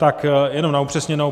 Tak jenom na upřesněnou.